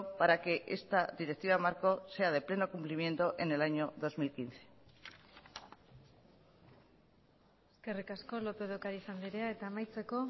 para que esta directiva marco sea de pleno cumplimiento en el año dos mil quince eskerrik asko lópez de ocariz andrea eta amaitzeko